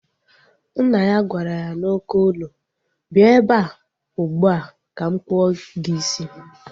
Nna ya gwara ya n'oké olu, bịa ebea ugbua ka m kpụọ gị isi!